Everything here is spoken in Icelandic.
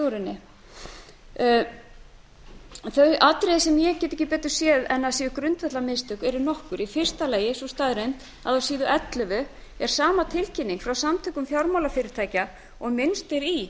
henni þau atriði sem ég get ekki betur séð en að séu grundvallarmistök eru nokkur í fyrsta lagi sú staðreynd að á síðu ellefu er sama tilkynning frá samtökum fjármálafyrirtækja og